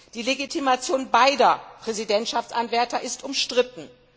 Die Legitimation beider Präsidentschaftsanwärter ist umstritten.